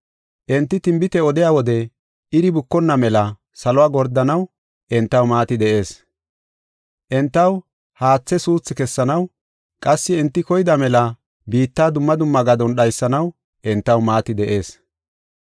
Enti tinbite odiya wode iri bukonna mela saluwa gordanaw entaw maati de7ees. Entaw haathe suuthi kessanaw, qassi enti koyida mela biitta dumma dumma gadon dhaysanaw entaw maati de7ees.